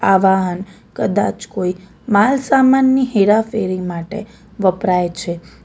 આ વાહન કદાચ કોઈ માલ સામાનની હેરાફેરી માટે વપરાય છે.